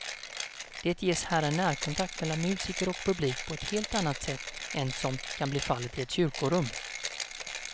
Det ges här en närkontakt mellan musiker och publik på helt annat sätt än som kan bli fallet i ett kyrkorum.